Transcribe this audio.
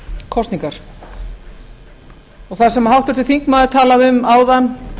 kosningar og það sem háttvirtur þingmaður talaði um áðan